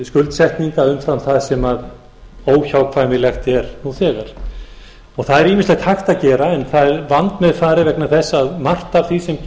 skuldsetninga umfram það sem óhjákvæmilegt er nú þegar það er ýmislegt hægt að gera en það er vandmeðfarið vegna þess að margt af því sem